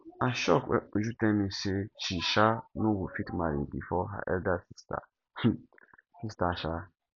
i shock wen uju tell me say she um no go fit marry before her elder um sister um